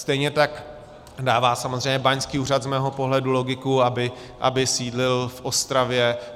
Stejně tak dává samozřejmě báňský úřad z mého pohledu logiku, aby sídlil v Ostravě.